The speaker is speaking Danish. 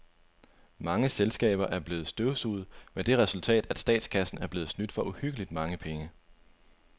Mange selskaber er blevet støvsuget med det resultat, at statskassen er blevet snydt for uhyggeligt mange penge.